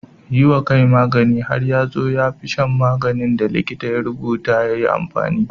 Yi wa kai magani har ya zo ya fi shan maganin da likita ya rubuta yi mai amfani.